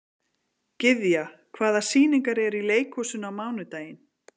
Gyðja, hvaða sýningar eru í leikhúsinu á mánudaginn?